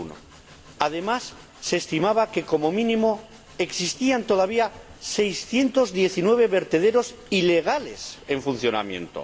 2001. Además, se estimaba que, como mínimo, existían todavía 619 vertederos ilegales en funcionamiento.